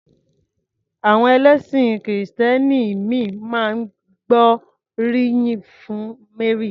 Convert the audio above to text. Àwọn ẹlẹ́sìn kìrìtẹ́nì ìmíì máa ń gbóríyìn fún Mary.